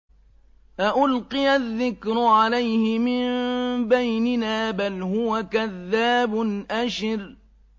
أَأُلْقِيَ الذِّكْرُ عَلَيْهِ مِن بَيْنِنَا بَلْ هُوَ كَذَّابٌ أَشِرٌ